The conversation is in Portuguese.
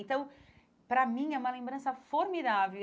Então, para mim, é uma lembrança formidável.